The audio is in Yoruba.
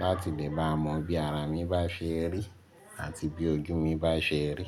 láti lè bá mọ bí ara mi bá ṣe rí àti bí ojú mi bá ṣe rí.